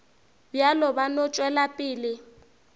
bjalo ba no tšwela pele